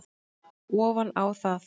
ofan á það.